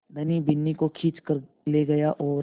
धनी बिन्नी को खींच कर ले गया और